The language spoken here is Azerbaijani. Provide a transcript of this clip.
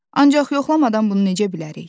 Ancaq yoxlamadan bunu necə bilərik?